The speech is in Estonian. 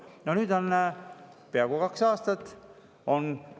No nüüd on peaaegu kaks aastat.